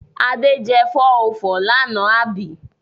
Ade jẹ 404 lánàá àbí?